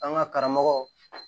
An ka karamɔgɔ